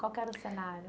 Qual que era o cenário?